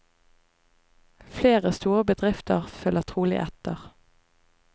Flere store bedrifter følger trolig etter.